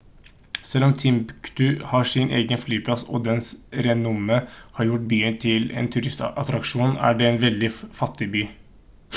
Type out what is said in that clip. selv om timbuktu har sin egen flyplass og dens renommé har gjort byen til en turistattraksjon er det en veldig fattig by